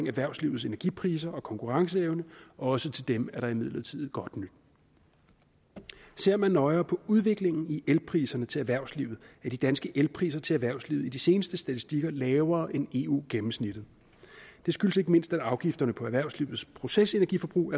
erhvervslivets energipriser og konkurrenceevne også til dem er der imidlertid godt nyt ser man nøjere på udviklingen i elpriserne til erhvervslivet ser at de danske elpriser til erhvervslivet i de seneste statistikker er lavere end eu gennemsnittet det skyldes ikke mindst at afgifterne på erhvervslivets procesenergiforbrug